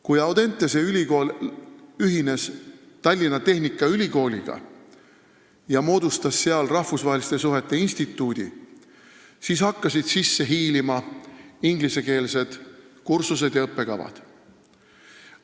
Kui Audentese ülikool ühines Tallinna Tehnikaülikooliga ja moodustas seal rahvusvaheliste suhete instituudi, siis hakkasid sisse hiilima ingliskeelsed kursused ja õppekavad.